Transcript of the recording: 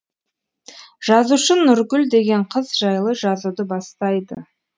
жазушы нұргүл деген қыз жайлы жазуды бастайды